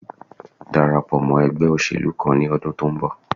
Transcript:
Darapọ̀ mọ́ ẹgbé òṣèlú kan ní ọdún tó ń bọ̀